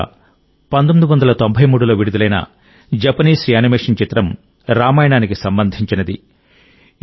ఈ సంస్థ 1993లో విడుదలైన జపనీస్ యానిమేషన్ చిత్రం రామాయణానికి సంబంధించినది